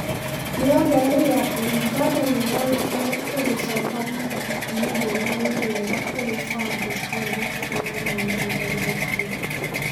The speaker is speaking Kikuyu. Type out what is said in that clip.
Nĩongereire atĩ ũganda nĩũronekana ũgicoka thutha ikinya rĩrĩa nĩ rĩega kũrĩ bandĩ cĩothe ikonai-niĩ na ũhoro ũcio.